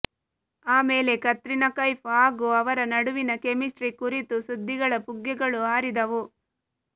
ಆಮೇಲೆ ಕತ್ರಿನಾ ಕೈಫ್ ಹಾಗೂ ಅವರ ನಡುವಿನ ಕೆಮಿಸ್ಟ್ರಿ ಕುರಿತು ಸುದ್ದಿಗಳ ಪುಗ್ಗೆಗಳು ಹಾರಿದವು